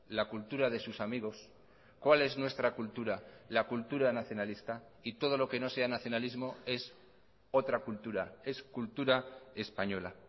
la cultura de sus amigos cuál es nuestra cultura la cultura nacionalista y todo lo que no sea nacionalismo es otra cultura es cultura española